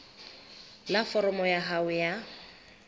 la foromo ya hao ya